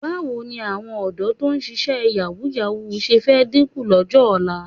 Báwo ni àwọn ọ̀dọ́ tó ń ṣíṣe yàwúù-yàwúù ṣe fẹ́ dínkù lọ́jọ́ ọ̀la?